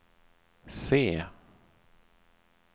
C